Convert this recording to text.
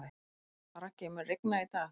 Raggi, mun rigna í dag?